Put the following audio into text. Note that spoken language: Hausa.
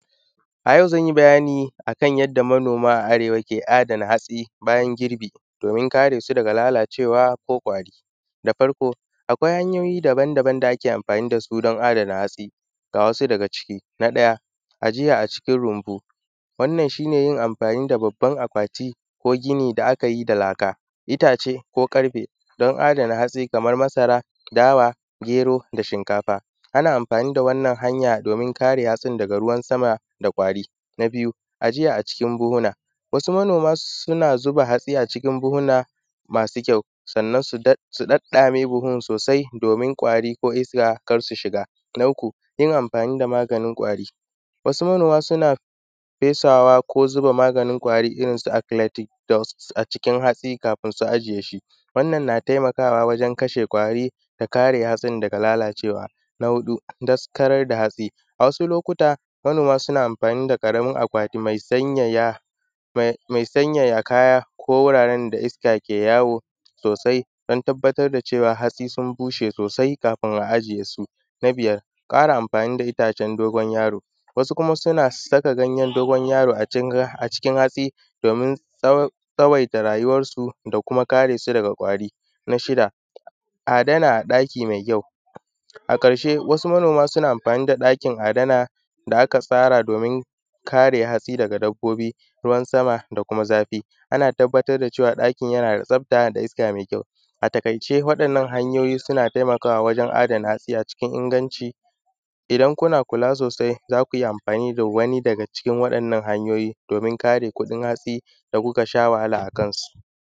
A yau zanyi bayani akan yanda manoma a arewa ke adana hatsi bayan girbewa domin kare su daga lalacewa ko kwari da farko akwai hanyoyi daban daban da ake anfani da su adomin adana hatsi. Ga wasu daga ciki: na ɗaya a jiya a cikin rinbu wannan shi ne anfani da babban akwati ko gini da aka yi da laka, itace ko ƙarfe don adana hatsi kaman masara dawa, gero da shinkafa, ana anfani da wannan hanya domin a kare hatsin daga ruwa sama da kwari. N a biyu, ajiya a cikin buhuna wasu manoma suna zuba hatsi a cikin buhuna masu kyau sannan su ɗaɗɗame buhun sosai domin kwari ko iska kar su shiga. N a uku yin anfani da maganin kwari, wasu manoma suna fesawa ku zuba maganin kwari irin su acletic dust a cikin hatsi kafin su ijiye shi wannan na taimakawa wajen kashe kwari da kare hatsin daga lalacewa, na huɗu sakarar da hatsi a wasu lokuta manoma suna anfani da ƙaramin akwati me sanyaya kaya ko wuraren da iska ke yawo sosai don tabbatar da cewa hatsi sun bushe sosai kafin a ajiy esu. N a biyar ƙara amfani da itacen dogon yaro, wasu kuma suna saka ganyan dogon yaro acikin hatsi domin tsawaita rayuwansu da kuma kare su daga kwari. Na shida adana a ɗaki me kyau a ƙarshe wasu manoma suna anfani da ɗakin adana da akafar domin kare hatsi daga dabbobi, ruwan sama da kuma zafi, ana tabbatar da cewa ɗakin na da tsafta da iska mai kyau. A taƙaice wa’yannan hanyoyi suna taimakawa wajen adana hatsi a cikin inganci, idan kuna kula sosaia za ku iya amfani da wani daga cikin waɗannan hanyoyi domin karte kuɗin hatsi da kuka sha wahala akansu.